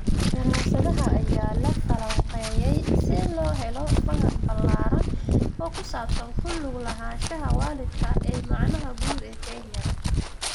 Daraasadaha ayaa la falanqeeyay si loo helo faham ballaaran oo ku saabsan ku lug lahaanshaha waalidka ee macnaha guud ee Kenya.